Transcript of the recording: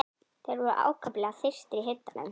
Þeir voru ákaflega þyrstir í hitanum.